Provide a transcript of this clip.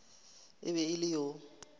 e be e le yo